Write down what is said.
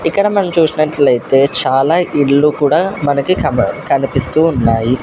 ఇక్కడ మనం చూస్తున్నట్లయితే చాలా ఇల్లు కూడా మనకి కన కనిపిస్తూ ఉన్నాయి.